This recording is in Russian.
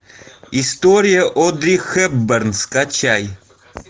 история одри хепберн скачай